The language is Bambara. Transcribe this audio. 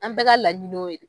An bɛɛ ka laɲini y'o ye